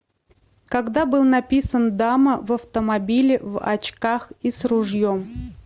когда был написан дама в автомобиле в очках и с ружьем